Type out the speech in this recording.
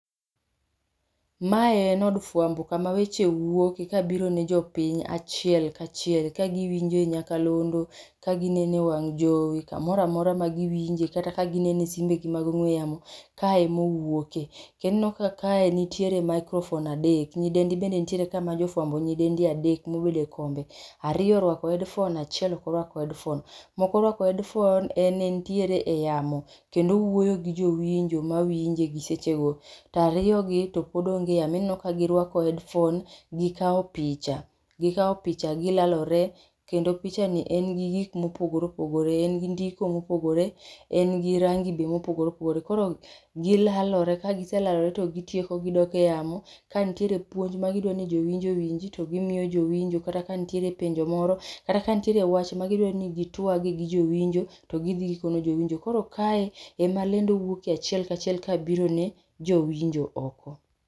Ma en od fwambo ka ma weche wuok ka biro ne jopiny ka achie ka achiel ka ka gi winje e nyakalondu ka gi nen e e wang' jowi ka moro amaora ma gi winje kata ka gi nene e simbe gi mag ong'we yamo kae ema gi wuoke ineno ka kae ni gi microphomne adek, nyidende mende nitie kae ma jo fwambo nyidendi adek , ma obedo e kombe, aroiyo orwako headphone ,ma ok orwako headpohone en en e yamo kendo owuoyo gi jo winjo ma winje e seche go to ariyo gi pod onge e yamo ineno ka gi rwako headphone gi kawo picha gi kao picha gi lalore kendo picha ni en gi gik ma opogore opogore, en gi ndiko ma opogore en gi rangi be ma opogore opogore .Koro gi lalore ka gi selalore to gi tieko gi dok e yamo ka nitiere puonj ma gi dwa ni jo winjo owinji to gi miyo jowinjo kata ka nitie penjo moro koro kata ka nitiere wach ma gi dwa ni gi twag gi jowinjo to gi dhi gi kono jowinjo. Koro ma ema lendo wuoke achiel ka achiel ka biro ne jo winjo oko.